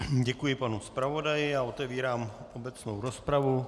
Děkuji panu zpravodaji a otevírám obecnou rozpravu.